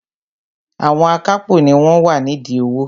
Àwọn akápò ni wọ́n wà nídìí owó